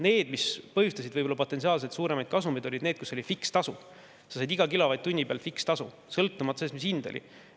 Need, mis põhjustasid potentsiaalselt suuremaid kasumeid, olid need, kus oli fikstasu: iga kilovatt-tunni pealt sai fikstasu, sõltumata sellest, mis hind oli.